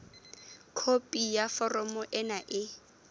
khopi ya foromo ena e